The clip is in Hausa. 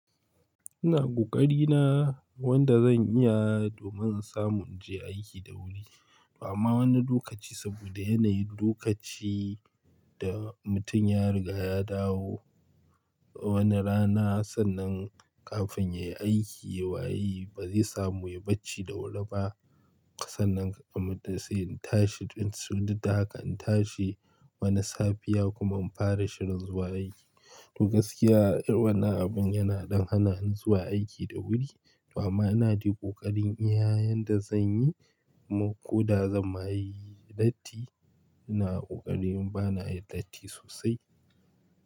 Ina ƙoƙari na, wanda zan iya, domin in samu in je aiki da wuri, to amma wani lokaci saboda yanayin lokaci da mutum ya riga ya dawo wani rana sannan, kafin ya yi aiki waye ba zai samu ya bacci da wuri ba. Sannan kamar da sai in tashi tun surruta haka, in tashi wani safiya kuma in fara shiga zuwa aiki. To gaskiya, irin wannan abin yana dan hana in zuwa aiki da wuri. Amma ina dai ƙoƙarin iya yanda zan yi ko da zan ma yi latti, ina ƙoƙari in ba na yin latti sosai.